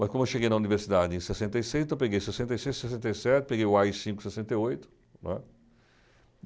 Mas como eu cheguei na universidade em sessenta e seis, então eu peguei sessenta e seis, sessenta e sete, peguei o á i cinco em sessenta e oito, não é?